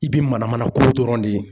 I bi mana mana ko dɔrɔn de ye.